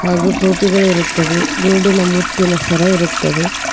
ಹಾಗೂ ಟೋಪಿಗಳು ಇರುತ್ತವೆ ಗುಂಡಿನ ಮುತ್ತಿನ ಸರ ಇರುತ್ತದೆ.